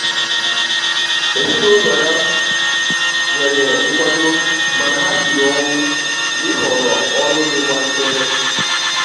ezinụlọ ya nyere nkwado mana ha siri ọnwụ na-ịhọrọ ọrụ dikwa nchebe.